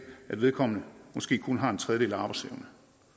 at vedkommende måske kun har en tredjedel arbejdsevne